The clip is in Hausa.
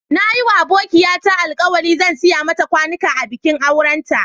Na yi ma abokiya ta alkawali zan siya mata kwanuka a bikin auren ta.